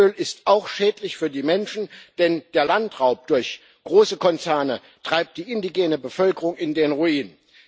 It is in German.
Palmöl ist auch schädlich für die Menschen, denn der Landraub durch große Konzerne treibt die indigene Bevölkerung in den Ruin.